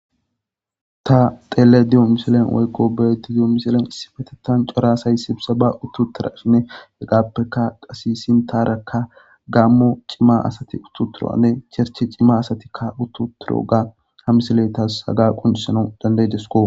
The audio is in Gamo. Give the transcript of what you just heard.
Ta xelayda diyo woyko beyayda doyo misiliyan cora asay sibseba uttidaysanne hegappeka qase sinthara gamo c'ima asti utti uttidinne chercher cimati asatika utti uttidoga ha misiley taasi haha qoncisana dana'idesko.